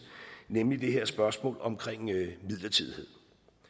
nemlig det her spørgsmål om midlertidighed